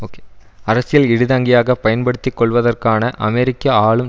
okay அரசியல் இடிதாங்கியாக பயன்படுத்திக்கொள்வதற்கான அமெரிக்க ஆளும்